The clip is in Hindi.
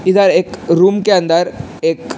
इधर एक रूम के अंदर एक --